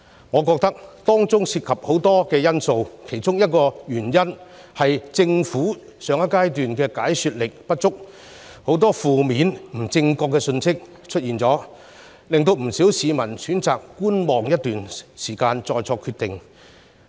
我認為當中涉及很多因素，其中一個是政府在上一階段解說不足，導致很多負面、不正確的信息出現，令不少市民選擇觀望一段時間再作決定。